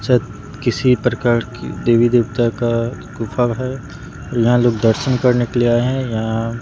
शायद किसी भी प्रकार की देवी देवता का गुफा है यहां लोग दर्शन करने के लिए आए हैं यहां--